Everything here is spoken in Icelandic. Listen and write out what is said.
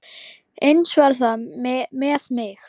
Eins verði það með mig.